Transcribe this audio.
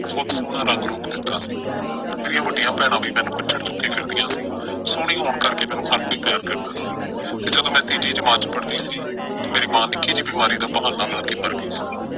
ਬਹੁਤ ਸੋਹਣਾ ਰੰਗ ਰੂਪ ਦਿੱਤਾ ਸੀ। ਮੇਰੀਆਂ ਵੱਡੀਆਂ ਭੈਣਾਂ ਵੀ ਮੈਨੂੰ ਕੁੱਛੜ ਚੁੱਕੀ ਫਿਰਦੀਆਂ ਸੀ। ਸੋਹਣੀ ਹੋਣ ਕਰਕੇ ਮੈਨੂੰ ਹਰ ਕੋਈ ਪਿਆਰ ਕਰਦਾ ਸੀ। ਫਿਰ ਜਦੋਂ ਮੈਂ ਤੀਜੀ ਜਮਾਤ ਚ ਪੜ੍ਹਦੀ ਸੀ ਤੇ ਮੇਰੀ ਮਾਂ ਨਿੱਕੀ ਜਿਹੀ ਬਿਮਾਰੀ ਦਾ ਬਹਾਨਾ ਲਾ ਕੇ ਮਰ ਗਈ ਸੀ।